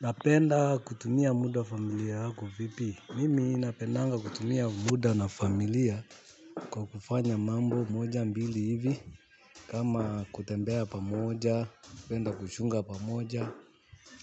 Napenda kutumia muda familia yako vipi mimi napendanga kutumia muda na familia kwa kufanya mambo moja mbili hivi kama kutembea pamoja napenda kushunga pamoja